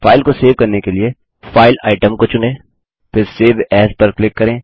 file को save करने के लिए फाइल आइटम को चुनें फिर सेव एएस पर क्लिक करें